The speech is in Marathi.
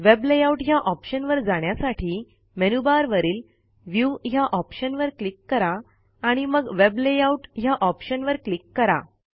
वेब लेआउट ह्या ऑप्शनवर जाण्यासाठी मेनूबारवरील व्ह्यू ह्या ऑप्शनवर क्लिक करा आणि मग वेब लेआउट ह्या ऑप्शनवर क्लिक करा